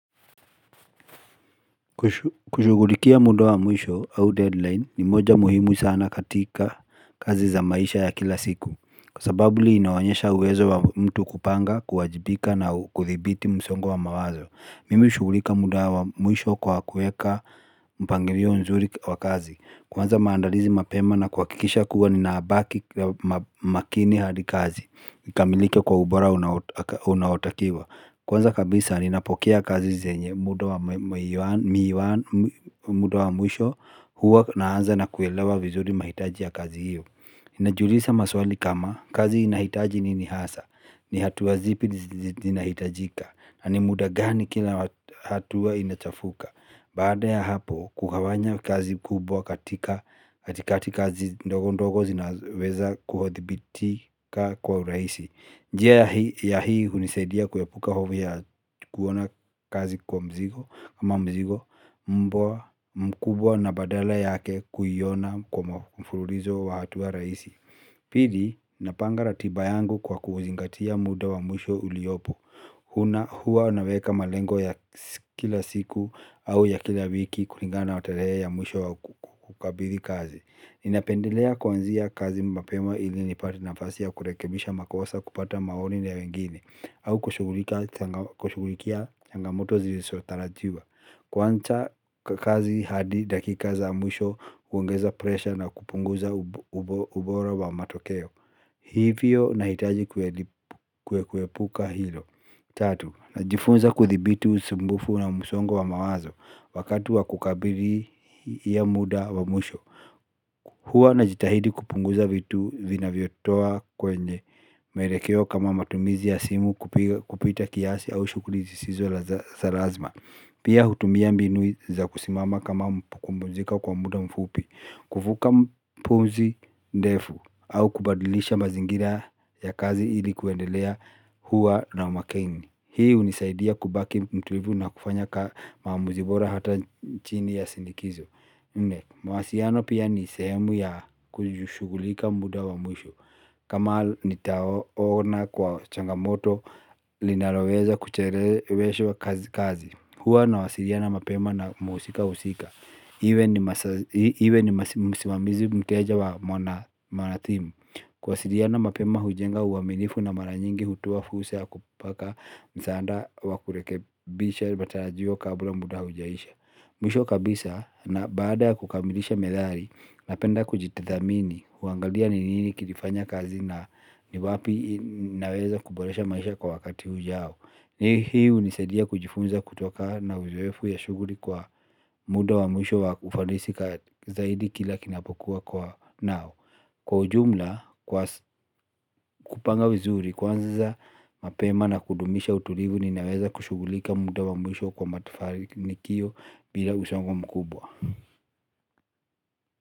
Kushughulikia muda wa mwisho au deadline ni moja muhimu sana katika kazi za maisha ya kila siku kwa sababu linaonyesha uwezo wa mtu kupanga kuwajibika na kuthibiti msongo wa mawazo mimi hushughulika muda wa mwisho kwa kuweka mpangilio nzuri wa kazi. Kuanza maandalizi mapema na kuhakikisha kuwa ninabaki makini hadi kazi ikamilike kwa ubora unaotakiwa kwanza kabisa ninapokea kazi zenye muda wa mwisho huwa naanza na kuelewa vizuri mahitaji ya kazi hiyo ninajiuliza maswali kama kazi inahitaji nini hasa, ni hatua zipi zinahitajika, na ni muda gani kila hatua inachafuka. Baada ya hapo kugawanya kazi kubwa katika kazi ndogo ndogo zinazoweza kuthibitika kwa urahisi njia hii hunisaidia kuepuka hofu ya kuona kazi kwa mzigo ama mizigo mbwa mkubwa na badala yake kuiona kwa mfululizo wa hatua rahisi. Pili napanga ratiba yangu kwa kuzingatia muda wa mwisho uliopo. Huwa naweka malengo ya kila siku au ya kila wiki kulingana na tarehe ya mwisho wa kukabidhi kazi. Ninapendelea kuanzia kazi mapema ili nipate nafasi ya kurekebisha makosa kupata maoni ya wengine au kushughulikia changamoto zisizotarajiwa kuanza kazi hadi dakika za mwisho huongeza presha na kupunguza ubora wa matokeo. Hivyo nahitaji kuepuka hilo. Tatu, najifunza kuthibiti usumbufu na msongo wa mawazo wakati wa kukabidhi hiyo muda wa mwisho. Huwa najitahidi kupunguza vitu vinavyotoa kwenye mwelekeo kama matumizi ya simu kupita kiasi au shughuli zisizo za lazima. Pia hutumia mbinu za kusimama kama kupumzika kwa muda mfupi kuvuta pumzi ndefu au kubadilisha mazingira ya kazi ili kuendelea kuwa na umakini hii hunisaidia kubaki mtulivu na kufanya maamuzi bora hata chini ya shinikizo nne mawasiliano pia ni sehemu ya kushughulika muda wa mwisho. Kama nitaona kwa changamoto linaloweza kucheleweshwa kazi huwa nawasiliana mapema na mhusika husika iwe ni iwe ni msimamizi mteja mwanatimu. Kuwasiliana mapema hujenga uaminifu na mara nyingi hutoa fursa ya kupaka msaada wa kurekebisha matarajio kabla muda hujaisha mwisho kabisa na baada ya kukamilisha methali napenda kujitathmini huangalia ni nini kilifanya kazi na ni wapi naweza kuboresha maisha kwa wakati ujao. Hii hunisaidia kujifunza kutokana na uzoefu ya shughuli kwa muda wa mwisho wa ufanisi zaidi kila kinapokuwa kwa nao kwa ujumla kupanga vizuri kuanza mapema na kudumisha utulivu ninaweza kushughulika muda wa mwisho kwa mafanikio bila msongo mkubwa.